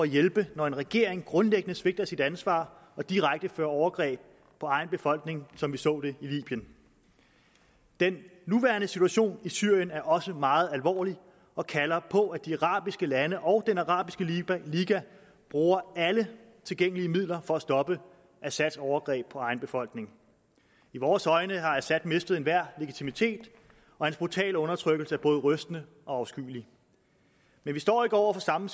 hjælpe når en regering grundlæggende svigter sit ansvar og direkte begår overgreb på egen befolkning som vi så det i libyen den nuværende situation i syrien er også meget alvorlig og kalder på at de arabiske lande og den arabiske liga bruger alle tilgængelige midler for at stoppe assads overgreb på egen befolkning i vores øjne har assad mistet enhver legitimitet og hans brutale undertrykkelse er både rystende og afskyelig men vi står ikke over for samme